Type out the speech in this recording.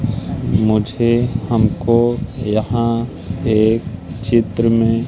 मुझे हमको यहां एक चित्र में--